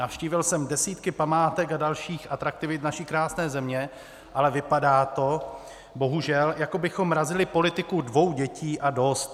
Navštívil jsem desítky památek a dalších atraktivit naší krásně země, ale vypadá to bohužel, jako bychom razili politiku dvou dětí a dost.